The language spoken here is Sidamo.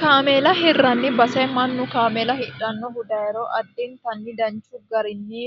kaameela hirranni base mannu kaameela hidhannohu dayiro addintanni danchu garinni